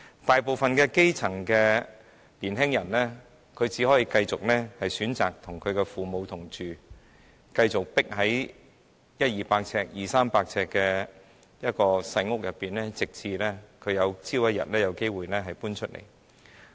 大部分的基層年青人只可以選擇繼續與父母同住，繼續擠在100至300平方呎的小單位內，直至他們有機會搬離。